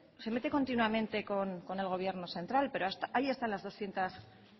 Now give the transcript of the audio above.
se meten continuamente con el gobierno central pero ahí están las doscientos